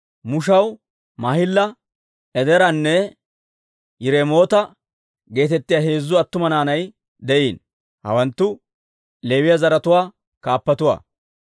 Mushaw Maahila, Edeeranne Yiremoota geetettiyaa heezzu attuma naanay de'iino. Hawanttu Leewiyaa zaratuwaa kaappatuwaa.